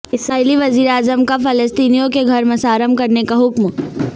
اسرائیلی وزیراعظم کا فلسطینیوں کے گھر مسمار کرنے کا حکم